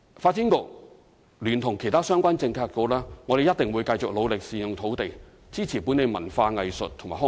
發展局聯同其他相關政策局，一定會繼續努力善用土地，支持本地文化藝術及康體發展。